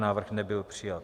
Návrh nebyl přijat.